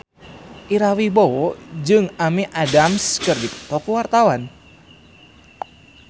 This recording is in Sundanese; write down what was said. Ira Wibowo jeung Amy Adams keur dipoto ku wartawan